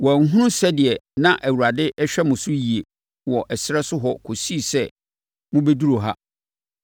Wɔanhunu sɛdeɛ na Awurade hwɛ mo so yie wɔ ɛserɛ so hɔ kɔsii sɛ mobɛduruu ha.